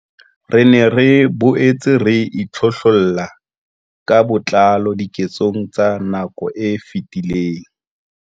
Re ne re boetse re itlhohlolla ka botlalo diketsong tsa nako e fetileng.